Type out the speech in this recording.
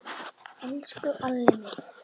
Elsku Alli minn.